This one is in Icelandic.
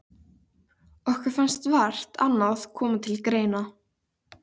Okkur fannst vart annað koma til greina.